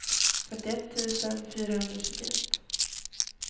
fyrtioett tusen fyrahundratjugoett